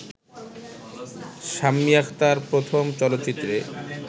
শাম্মী আখতার প্রথম চলচ্চিত্রে